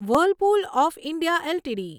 Whirlpool of India LTD